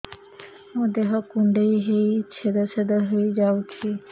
ମୋ ଦେହ କୁଣ୍ଡେଇ ହେଇ ଛେଦ ଛେଦ ହେଇ ଯାଉଛି